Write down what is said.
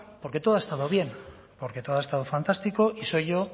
porque todo ha estado bien porque todo ha estado fantástico y soy yo